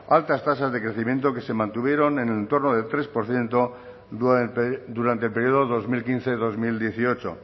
altas tasas de crecimiento que se mantuvieron en el entorno al tres por ciento durante el periodo dos mil quince dos mil dieciocho